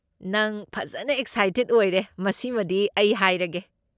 ꯅꯪ ꯐꯖꯟꯅ ꯑꯦꯛꯁꯥꯏꯇꯦꯗ ꯑꯣꯏꯔꯦ, ꯃꯁꯤꯃꯗꯤ ꯑꯩ ꯍꯥꯏꯔꯒꯦ꯫